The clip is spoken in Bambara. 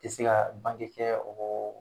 I se ka bange kɛ, o